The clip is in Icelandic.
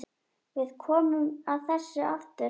Við komum að þessu aftur.